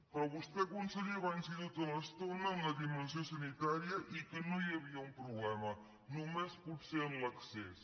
però vostè conseller va insistir tota l’estona en la di·mensió sanitària i que no hi havia un problema no·més potser en l’accés